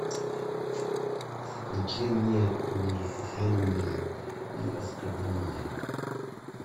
включи мне униженные и оскорбленные